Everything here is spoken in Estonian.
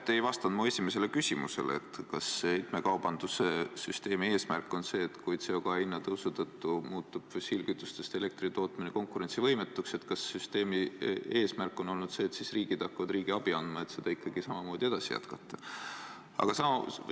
Te ei vastanud minu esimesele küsimusele, et kui CO2 hinna tõusu tõttu muutub fossiilkütusest elektri tootmine konkurentsivõimetuks, siis kas süsteemi eesmärk on olnud see, et riigid hakkavad riigiabi andma, et ikkagi samamoodi jätkata?